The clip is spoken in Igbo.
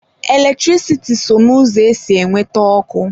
Eletrisiti so n'ụzọ esi enweta ọkụ.